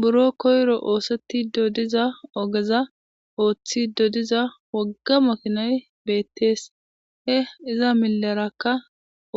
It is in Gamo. buro koyiro oosettid diza ogeza ooththid diza wogga makinay beettees he iza milerakka